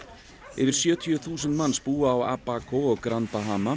yfir sjötíu þúsund manns búa á Abaco og grand